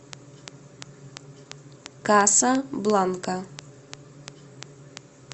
каса бланка